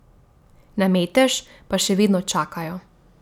Na metež pa še vedno čakajo ...